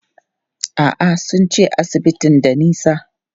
A'a, sun ce asibitin da nisa.